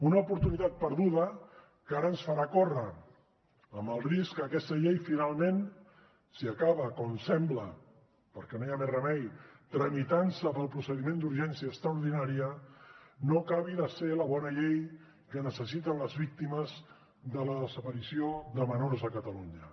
una oportunitat perduda que ara ens farà córrer amb el risc que aquesta llei finalment si acaba com sembla perquè no hi ha més remei tramitant se pel procediment d’urgència extraordinària no acabi de ser la bona llei que necessiten les víctimes de la desaparició de menors a catalunya